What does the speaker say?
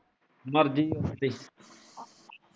ਮਰਜੀ ਹੈ